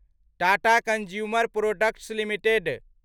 Tata consumer products limited